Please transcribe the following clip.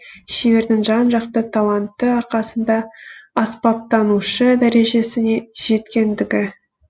шебердің жан жақты таланты арқасында аспаптанушы дәрежесіне жеткендігі